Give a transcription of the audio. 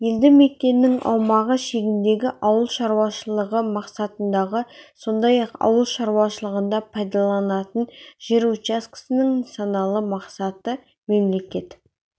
елді мекеннің аумағы шегіндегі ауыл шаруашылығы мақсатындағы сондай-ақ ауыл шаруашылығында пайдаланылатын жер учаскесінің нысаналы мақсаты мемлекет